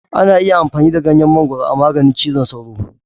Ana iya amfani da ganyen mangwaro a maganin cizon sauro.